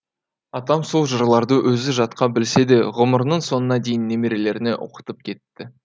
атам сол жырларды өзі жатқа білсе де ғұмырының соңына дейін немерелеріне оқытып кетті